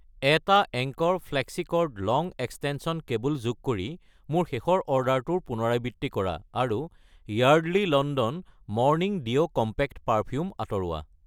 1 টা Anchor flexicord long extension cable যোগ কৰি মোৰ শেষৰ অৰ্ডাৰটোৰ পুনৰাবৃত্তি কৰা আৰু Yardley London morning dew compact perfume আঁতৰোৱা।